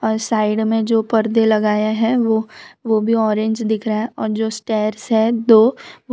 और साइड में जो पर्दे लगाया है वो वो भी ऑरेंज दिख रहा है और जो स्टार्स है दो वो --